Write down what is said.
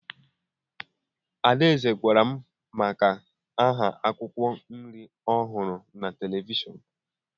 Adaeze gwara m maka ahịa akwụkwọ nri ọ hụrụ na televishọnụ